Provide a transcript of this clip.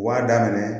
Wa daminɛ